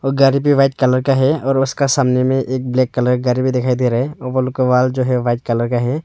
गाड़ी पे white colour का है और उसका सामने में एक ब्लैक कलर गाड़ी दिखाई दे रहे हैं ऊपर का वॉल जो है व्हाइट कलर का है।